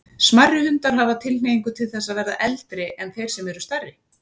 Smærri hundar hafa tilhneigingu til þess að verða eldri en þeir sem eru stærri.